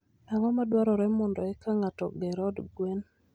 Ang'o madwarore mondo eka ng'ato oger od gwen?